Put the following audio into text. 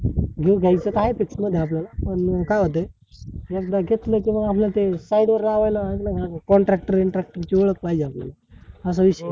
घेऊ घाई च काय तितक आपल्याला पण काय होतंय एकदा घेतल की मग आपल्याला ते side वर लावायला ना contractor ब्रिन्ट्रक्टर ची ओळख पाहिजे आपल्याला असा विषय आहे